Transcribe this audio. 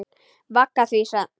Vaggar því í svefn.